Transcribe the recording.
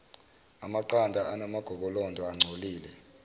amaqanda anamagobolondo angcolile